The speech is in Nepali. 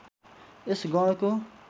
यस गणको